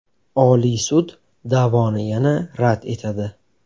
Oliy sud da’voni yana rad etadi.